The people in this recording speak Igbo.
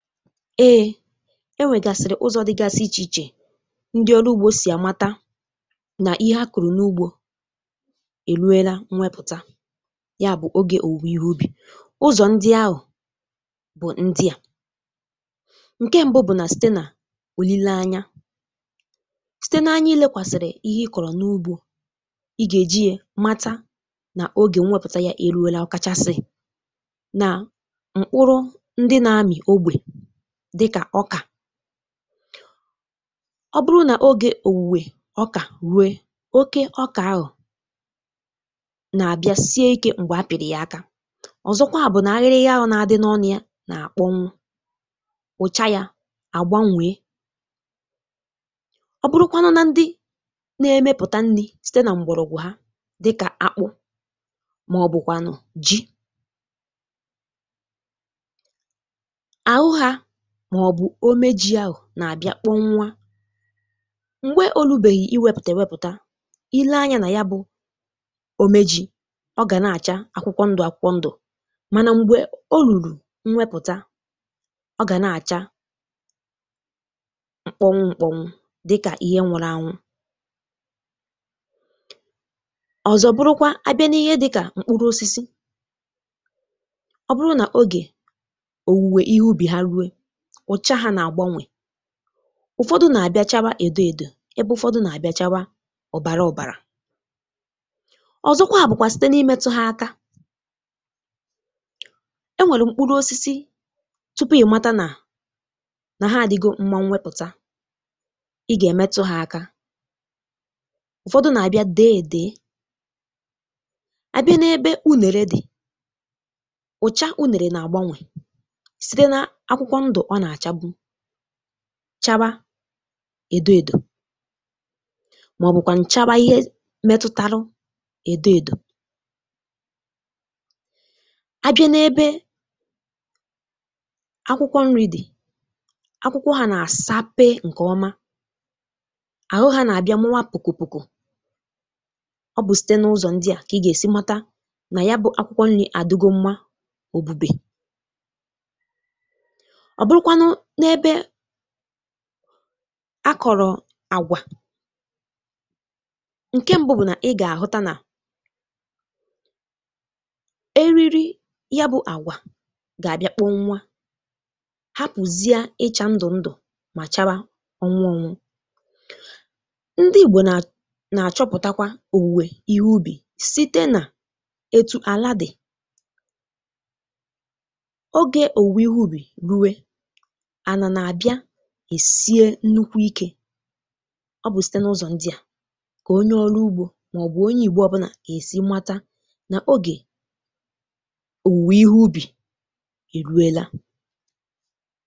Ee, enwègasịrị ụzọ dịgasị iche iche ndị ọrụ ugbọ sì àmata nà ihe a kụrụ n’ugbọ eruela nwepụta, yabụ ogè òwùwè ihe ubì. Ụzọ ndị ahụ bụ ndịà: ǹkè mbụ bụ nà site nà òlilé anya, site n’anya ilekwàsịrị ihe ị kọrọ n’ugbọ, ị gà-èji a mata nà ogè nwepụta ya eruela, okachasị nà mkpụrụ ndị na-ami ogbe dịkà ọkà, Ọ bụrụ nà ogè òwùwè ọkà rue, oke ọkà ahụ nà-àbịa sie ike m̀gbè a pìrì ya aka. Ọzọkwa bụ nà ahịrị ya ahụ nà-adị n’ọnụ a nà-àkpọnwụ; ụcha ya àgbanwèe. Ọ bụrụkwanụ na ndị na-emepụta nni site nà m̀gbọrọgwụ ha dịkà akpụ màọbụkwànụ ji, ahụ ha màọbụ omejì ahụ nà-àbịa kpọnwụ m̀gbè olubèghì iwèpụtè wepụta, ilee anya nà ya bụ omejì, ọ gà na-àcha akwụkwọ ndụ akwụkwọ ndụ mànà m̀gbè olùlù nwepụta, ọ gà na-àcha mkpọnwụ mkpọnwụ dịkà ihe nwuru anwụ. Ọzọ bụrụkwa abịa n’ihe dịkà mkpụrụ osisi; ọ bụrụ nà ogè òwùwè ihe ubi ha rue, ọcha ha na àgbanwèe, ụfọdụ nà-abịa chawa èdo èdò, ebe ụfọdụ nà-abịa chawa ọbàrà ọbàrà. Ọzọkwa bụkwà site n’imètụ ha aka; enwèlù mkpụrụ osisi tupu ị mata nà, na ha adịgo mma nwepụta, ị gà-èmetụ ha aka; ụfọdụ nà-abịa dèèdè, abịa n’ebe unèrè dị, ụcha unèrè nà-àgbanwè, site n'akwụkwo ndu ọ na chabụ chawa èdo èdò màọbụ kwànụ chawa ihe metụtarụ èdo èdò. Abịa n’ebe akwụkwọ nri dị, akwụkwọ ha nà-àsape ǹkè ọma; àhụ ha nà-àbịa mụwa pùkù pùkù. Ọ bụ site n’ụzọ ndị a kà ị gà-èsi mata nà yabụ akwụkwọ nri àdịgo mma òbube. Ọ bụrụkwanụ n'ebe akọrọ agwà, ǹkè mbụ bụ nà, ị gà-àhụta nà eriri yabụ àgwà gà-àbịa kpọnwa, hapụzịa ịchà ndụ ndụ mà chawa ọnwụ ọnwụ. Ndị Igbo nà nà-àchọpụtakwa òwùwè ihe ubì site nà etu àládị, ogè òwùwè ihe ubì rue, ana na-abịa èsie nnukwu ike. Ọ bụ site n’ụzọ ndịà kà onye ọlụ ugbọ màọbụ onye ìgbo ọbụna ga-èsi mata nà ogè òwùwè ihe ubì èruela.